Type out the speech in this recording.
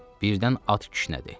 Birdən at kişnədi.